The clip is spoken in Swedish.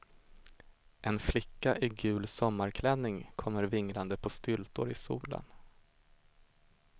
En flicka i gul sommarklänning kommer vinglande på styltor i solen.